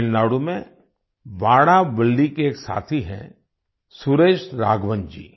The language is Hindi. तमिलनाडु में वाडावल्ली के एक साथी हैं सुरेश राघवन जी